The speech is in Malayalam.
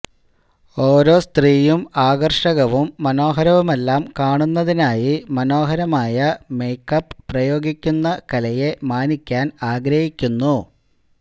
ഓരോ സ്ത്രീയും ആകർഷകവും മനോഹരവുമെല്ലാം കാണുന്നതിനായി മനോഹരമായ മേക്കപ്പ് പ്രയോഗിക്കുന്ന കലയെ മാനിക്കാൻ ആഗ്രഹിക്കുന്നു